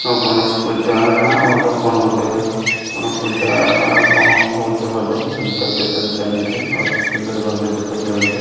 ଗଣେଶ ପୂଜାନା ଅଲଗା କଣ ଗୁଟେ କଣ ପୁଜା ବା କଣ ହଉଛେ ବୋଧେ ଅତି ସୁନ୍ଦର ଭାବେ ଦେଖାଯାଉଛି।